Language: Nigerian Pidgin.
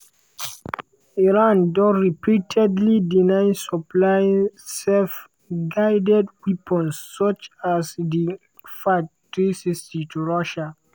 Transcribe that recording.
iran don repeatedly deny supplying self-guided weapons such such as di fath-360 to russia.